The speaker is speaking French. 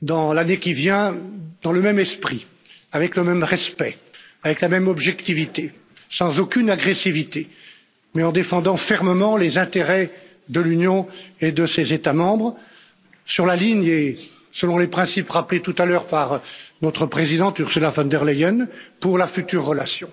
dans l'année qui vient, dans le même esprit, avec le même respect, avec la même objectivité, sans aucune agressivité, mais en défendant fermement les intérêts de l'Union et de ses États membres, sur la ligne et selon les principes rappelés tout à l'heure par notre présidente Ursula von der Leyen pour la future relation.